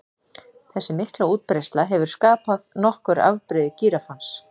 Þessi mikla útbreiðsla hefur skapað nokkur afbrigði gíraffans.